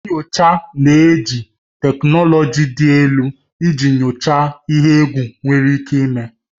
Nyocha na-eji teknụlọji dị elu iji nyochaa ihe egwu nwere ike ime.